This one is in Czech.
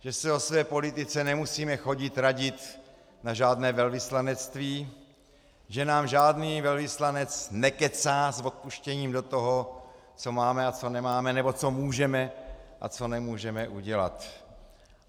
Že se o své politice nemusíme chodit radit na žádné velvyslanectví, že nám žádný velvyslanec nekecá s odpuštěním do toho, co máme a co nemáme nebo co můžeme a co nemůžeme udělat.